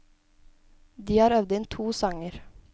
De har øvd inn to sanger.